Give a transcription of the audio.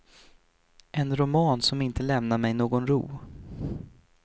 En roman som inte lämnar mig någon ro.